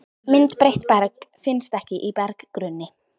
Myndbreytt berg finnst ekki í berggrunni